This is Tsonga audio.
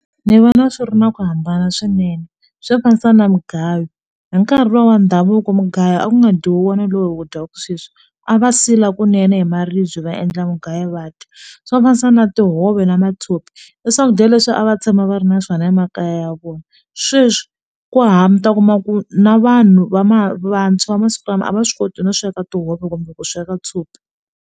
Ndzi vona swi ri na ku hambana swinene swo fanisa na mugayo hi nkarhi luwa wa ndhavuko mugayo a ku nga dyiwi hi wona lowu hi wu dyaka sweswi a va sila kunene hi maribye va endla mugayo va dya swo fanisa na tihove na matshopi i swakudya leswi a va tshama va ri na swona emakaya ya vona sweswi ku u ta kuma ku na vanhu va vantshwa va masiku lama a va swi koti no sweka tihove kumbe ku sweka tshopi.